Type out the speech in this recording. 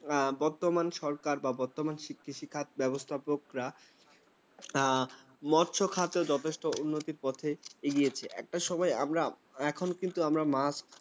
বর্তমান সরকার বা বর্তমান কৃষি ব্যবস্থাপকরা। হ্যাঁ, মৎস্য খাতে যথেষ্ট উন্নতির পথে এগিয়েছে, একটা সময় আমরা এখন কিন্তু আমরা মাছ